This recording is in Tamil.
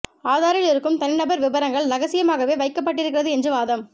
ஆதாரில் இருக்கும் தனி நபர் விபரங்கள் ரகசியமாகவே வைக்கப்பட்டிருக்கிறது என்று வாதம்